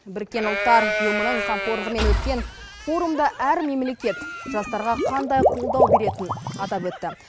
біріккен ұлттар ұйымының қамқорлығымен өткен форумда әр мемлекет жастарға қандай қолдау беретін атап өтті